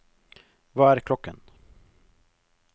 hva er klokken